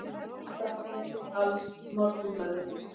Frá Emil AlsMorgunblaðið